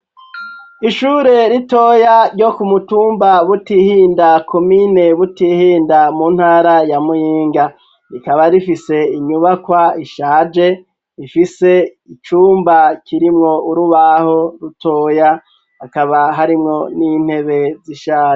Ishure ritoya ryo kumutumba Butihinda komine Butihinda mu ntara ya Muyinga, rikaba rifise inyubakwa ishaje ifise icumba kirimwo urubaho rutoya, akaba harimwo n'intebe zishaje.